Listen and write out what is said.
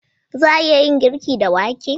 Za a iya yin girki da wake?